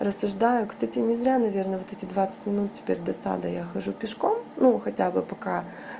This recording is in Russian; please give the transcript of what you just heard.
рассуждаю кстати не зря наверное вот эти двадцать минут теперь до сада я хожу пешком ну хотя бы пока